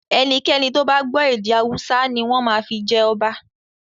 Ẹnikẹ́ni tó bá gbọ́ èdè Hausa ni wọ́n máa fi jẹ ọba.